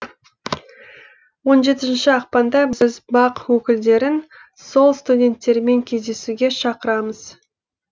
он жетінші ақпанда біз бақ өкілдерін сол студенттермен кездесуге шақырамыз